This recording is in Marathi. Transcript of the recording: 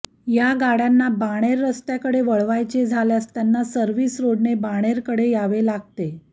या गाड्यांना बाणेर रस्त्याकडे वळायचे झाल्यास त्यांना सर्व्हिस रोडने बाणेरकडे यावे लागते